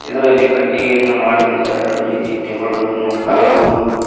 ಇದರಲ್ಲಿ ಕಟ್ಟಿಗೆಯಿಂದ ಮಾಡಿದಂತ ಎರಡು ರೀತಿ ಟೇಬಲ್ ಗಳನ್ನು ಕಾಣಬಹುದು.